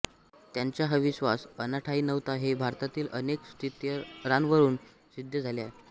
त्यांचा हा विश्वास अनाठायी नव्हता हे भारतातील अनेक स्थित्यंतरांवरून सिद्ध झाले आहे